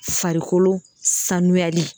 Farikolo sanuyali